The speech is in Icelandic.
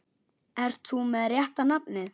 Ert þú með rétta nafnið?